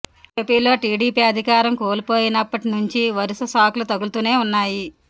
ఏపీలో టీడీపీ అధికారం కోల్పోయినప్పటి నుంచి వరుస షాక్లు తగులుతూనే ఉన్నాయి